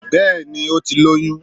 Bẹ́ẹ̀ni ó ti lóyún